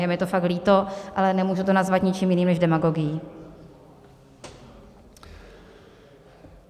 Je mi to fakt líto, ale nemůžu to nazvat ničím jiným než demagogií.